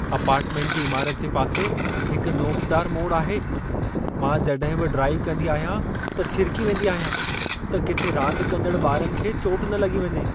Apartment जी इमारति जे पासे हिक नोकदार मोड़ आहे। मां जॾहिं बि ड्राइव कंदी आहियां, त छिरिकी वेंदी आहियां, त किथे रांदु कंदड़ु ॿारनि खे चोट न लॻी वञे।